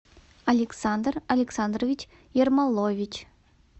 александр александрович ермолович